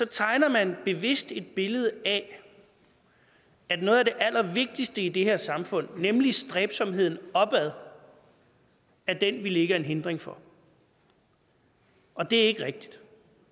tegner man bevidst et billede af at noget af det allervigtigste i det her samfund nemlig stræbsomheden opad er den vi lægger en hindring for og det er ikke rigtigt